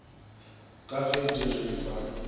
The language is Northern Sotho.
ka ge di re fa